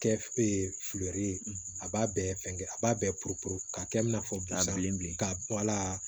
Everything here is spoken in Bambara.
Kɛ filɛri a b'a bɛɛ fɛngɛ a b'a bɛɛ popepu k'a kɛ i n'a fɔ bi a bilen bilen k'a bɔ wala